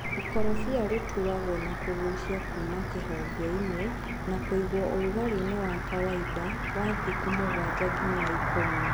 ĩkorobia rĩtuagwo nakũgucia kuma kĩhongeinĩ na kũiguo ũrugarĩini wa kawaida wa thikũ mũgwanja nginya ikũmi.